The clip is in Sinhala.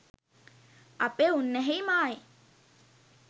අපේ උන්නැහෙයි මායි